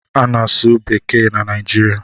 A na-asụ asụsụ bekee na Naijiria.